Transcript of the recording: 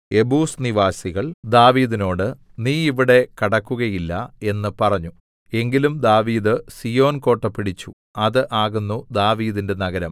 Jebus നിവാസികൾ ദാവീദിനോടു നീ ഇവിടെ കടക്കുകയില്ല എന്നു പറഞ്ഞു എങ്കിലും ദാവീദ് സീയോൻകോട്ട പിടിച്ചു അത് ആകുന്നു ദാവീദിന്റെ നഗരം